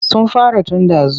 Sun fara tun ɗazu.